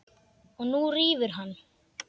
Og nú rífur hann í.